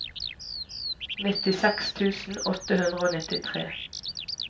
nittiseks tusen åtte hundre og nittitre